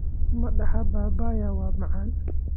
Midhaha papaya waa macaan.